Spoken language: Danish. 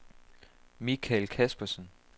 Mikael Caspersen